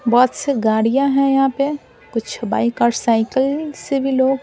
बहुत सी गाड़ियां हैं यहां पे कुछ बाइक और साइकिल से भी लोग--